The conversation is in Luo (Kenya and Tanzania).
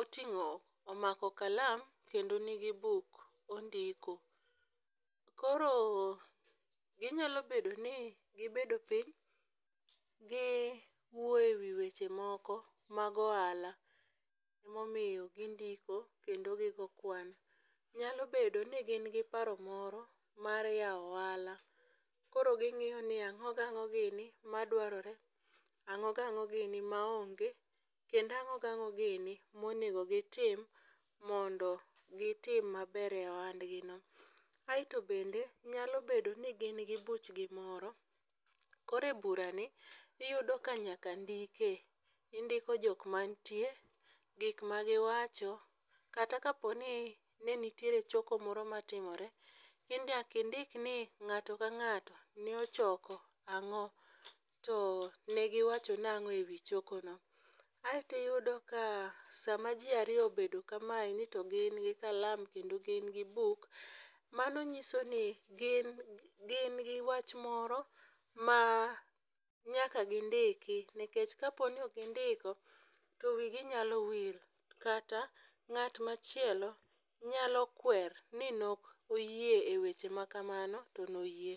oting'o, omako kalam kendo nigi buk, ondiko. Koro ginyalo bedo ni gibedo piny, gi wuoyo e wi weche moko mag ohala. Ema omiyo gindiko kendo gigoyo kwan. Nyalo bedo ni gin gi paro moro mar yawo ohala. Koro ging'iyo ni ang'o gi ang'o gini madwarore. Ang'o gi ang'o gini maonge. Kendo ang'o gi ang'o gini monego gitim mondo gitim maber e ohandgino. Aeto bende nyalo bedo ni gin gi buchgi moro. Koro e bura ni iyudo ka nyaka ndikie. Indiko jok manitie, gik ma giwacho, kata ka po ni ne nitiere choko moro matimore, ni nyaka indikni ng'ato ka ng'ato ne ochoko ang'o. To negiwacho nang'o e wi choko no. Aeto iyudo ka sama ji ariyo obedo kamendi to gin gi kalam kendo gin gi buk, mano nyiso ni gin gin gi wach moro ma nyaka gindiki nikech ka po ni ok gindiko to wi gi nyalo wil, kata ng'at ma chielo nyalo kwer ni ne ok oyie e weche machalo kamano, to ne oyie.